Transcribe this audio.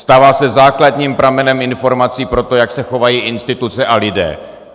Stává se základním pramenem informací pro to, jak se chovají instituce a lidé.